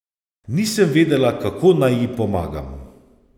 Nisem vedela, kako naj ji pomagam.